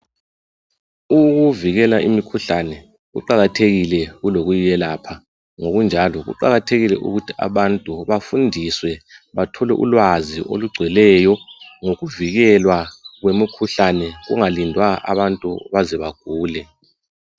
Ukuvikela imikhuhlane kuqakathekile kulokuyiyelapha ngokunjalo kuqakathekile ukuthi abantu bafundiswe bathole ulwazi olugcweleyo ngokuvikelwa kwemikhuhlane kungalindwa abantu baze bagule